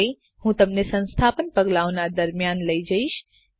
હવે હું તમને સંસ્થાપન પગલાંઓનાં દરમ્યાન લઇ જઈશ